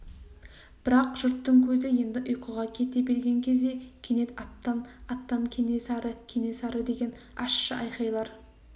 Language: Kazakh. бірақ жұрттың көзі енді ұйқыға кете берген кезде кенет аттан аттан кенесары кенесары деген ащы айқайлар